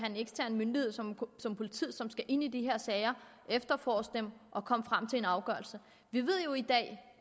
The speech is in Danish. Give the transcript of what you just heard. en ekstern myndighed som politiet som skal ind i de her sager efterforske dem og komme frem til en afgørelse vi ved jo i dag